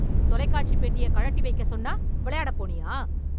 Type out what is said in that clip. தொலைக்காட்சி பெட்டிய கழட்டி வைக்கச் சொன்னா விளையாடப் போனியா